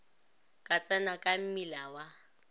ka tsena ka mmila wa